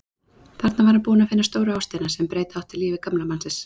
Þarna var hann búinn að finna stóru ástina sem breyta átti lífi gamla mannsins.